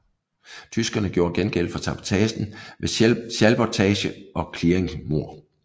Tyskerne gjorde gengæld for sabotagen med schalburgtage og clearingmord